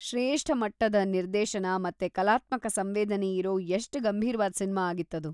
ಶ್ರೇಷ್ಠ ಮಟ್ಟದ ನಿರ್ದೇಶನ ಮತ್ತೆ ಕಲಾತ್ಮಕ ಸಂವೇದನೆಯಿರೋ ಎಷ್ಟ್ ಗಂಭೀರ್ವಾದ್ ಸಿನ್ಮಾ ಆಗಿತ್ತದು.